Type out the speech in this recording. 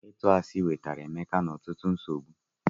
Ịtu asi wetara Emeka ọtụtụ nsogbu.